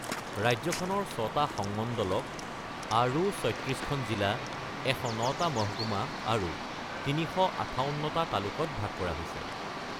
ৰাজ্যখনৰ ছটা সংমণ্ডলক আৰু ৩৬ খন জিলা, ১০৯টা মহকুমা, আৰু ৩৫৮টা তালুকত ভাগ কৰা হৈছে।